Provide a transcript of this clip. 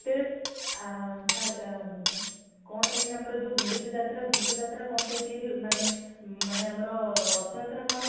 କଣ ପାଇଁ ଆମର ଯୋଉ ଗୁଣ୍ଡିଚା ଯାତ୍ରା ଘୋସ ଯାତ୍ରା କଣ ପାଇଁ ମାନେ ଆମର ରଥ ଯାତ୍ରା କଣ ପାଇଁ